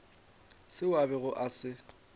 seo a bego a se